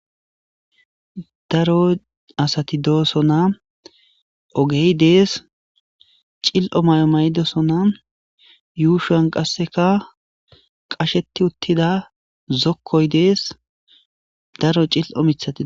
Daro asati doosona, ogey dees, cil'o mayo mayidosona, yushuwan qaseka qasheti uttida dokoy dees, daro cil'o mithati de'osona.